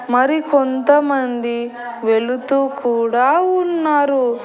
మరి కొంతమంది వెలుతూ కూడా ఉన్నారు.